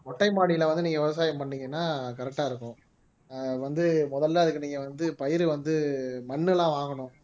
மொட்டை மாடியில வந்து நீங்க விவசாயம் பண்ணீங்கன்னா correct ஆ இருக்கும் ஆஹ் வந்து முதல்ல அதுக்கு நீங்க வந்து பயிர் வந்து மண்ணெல்லாம் வாங்கணும்